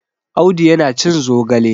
Audu yana cin zogale.